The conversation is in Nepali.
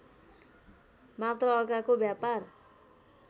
मात्र अर्काको व्यापार